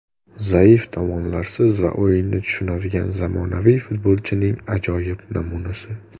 Zaif tomonlarsiz va o‘yinni tushunadigan zamonaviy futbolchining ajoyib namunasi.